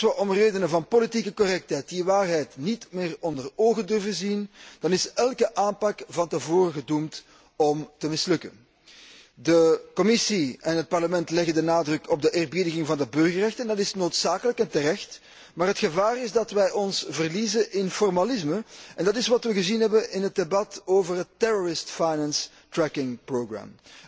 En als wij om redenen van politieke correctheid die waarheid niet meer onder ogen durven zien, is elke aanpak van tevoren gedoemd om te mislukken. De Commissie en het Parlement leggen de nadruk op de eerbiediging van de burgerrechten en dat is noodzakelijk en terecht. Maar het gevaar is dat wij ons verliezen in formalisme en dat is wat wij gezien hebben in het debat over het terrorist finance tracking program